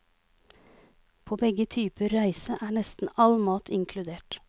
På begge typer reise er nesten all mat inkludert.